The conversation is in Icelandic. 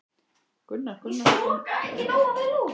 Gunnar Gunnarsson rithöfundur, Helgi Hermann Eiríksson skólastjóri